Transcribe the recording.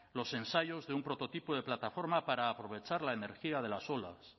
los ensayos de un prototipo de plataforma para aprovechar la energía de las olas